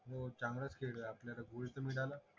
हो चांगलाच खेळलोय आपल्याला गोल्ड तर मिळाल